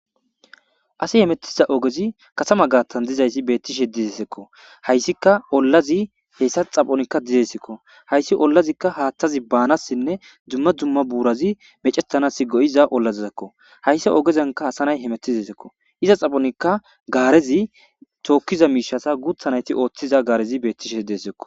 asi hemettiza ogezi kasama gaattan dizayssi beettishe dizesekko hayssika ollazi heessa xaphonikka dizesekko hayssi ollazikka haathtazi baanassinne dzumma dumma buurazi mecetanasi go7iza ollazizekko hayssi ogezanka hasanay hemettizesekko iza xaphonikka gaarezi tookkiza miishasa guuthanayti ooththiza gaarezi beettishe desekko